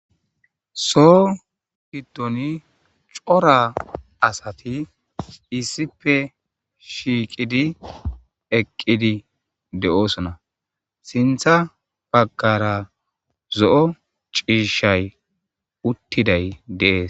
so hidoni cora asati issipe shiiqidi eqqidi de7oosona sintha bagkara zo7o ciishay uttiday dees